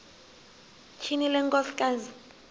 tyhini le nkosikazi